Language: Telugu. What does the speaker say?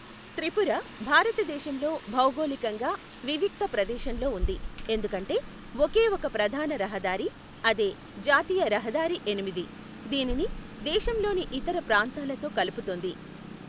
త్రిపుర భారతదేశంలో భౌగోళికంగా వివిక్త ప్రదేశంలో ఉంది, ఎందుకంటే ఒకే ఒక ప్రధాన రహదారి, అదే జాతీయ రహదారి ఎనిమిది, దీనిని దేశంలోని ఇతర ప్రాంతాలతో కలుపుతుంది.